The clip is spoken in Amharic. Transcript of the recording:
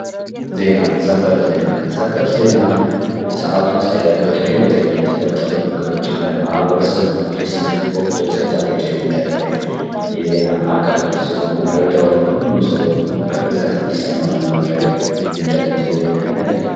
ዜና ሰበር ዜና ሰበር ዜና፦ ሰአቱን ሳይጠብቅ ድንገተኛ የተፈጠሩ ነገሮችን ለማህበረሰብ ለማድረስ ወቅቱን ሳይጠብቅ የሚደረግ የዜና አቅርቦት ሲሆን መረጃውን ሁሉም ሰው በፍጥነት እንድሰማ ለማድረግ የሚደረግ የዜና አይነት ነው።